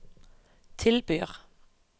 tilbyr